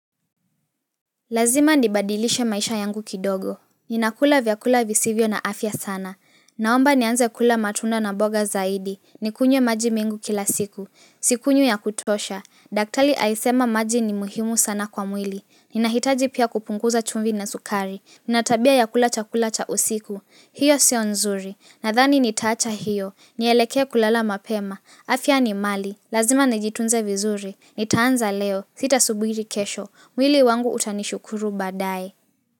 Lazima ndibadilishe maisha yangu kidogo. Ninakula vyakula visivyo na afya sana. Naomba nianze kula matunda na boga zaidi. Nikunywe maji mengu kila siku. Sikunywi yakutosha. Daktali aisema maji ni muhimu sana kwa mwili. Ninahitaji pia kupunguza chumvi na sukari. Natabia ya kula chakula cha usiku. Hio sio nzuri. Nadhani nitaacha hiyo. Nielekee kulala mapema. Afya ni mali. Lazima nijitunze vizuri. Nitaanza leo. Sitasuburi kesho. Mwili wangu utanishukuru badae.